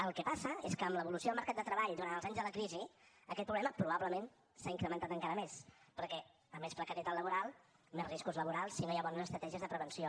el que passa és que amb l’evolució del mercat de treball durant els anys de la crisi aquest problema probablement s’ha incrementat encara més perquè a més precarietat laboral més riscos laborals si no hi ha bones estratègies de prevenció